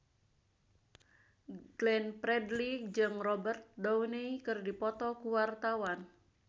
Glenn Fredly jeung Robert Downey keur dipoto ku wartawan